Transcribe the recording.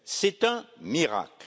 C'est un miracle.